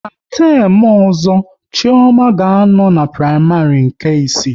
Ná temu ọzọ, Chioma ga a nọ n'praịmarị nke isii